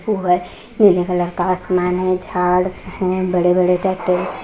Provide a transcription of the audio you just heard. फुहे नीले कलर का आसमान है झाड़ है बड़े-बड़े टैक्टर --